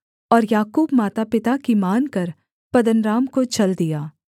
और याकूब मातापिता की मानकर पद्दनराम को चल दिया